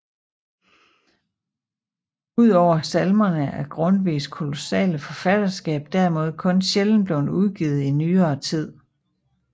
Udover salmerne er Grundtvigs kolossale forfatterskab derimod kun sjældent blevet udgivet i nyere tid